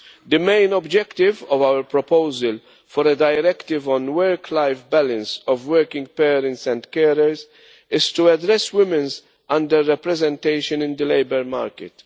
The main objective of our proposal for a directive on work life balance of working parents and carers is to address women's under representation in the labour market.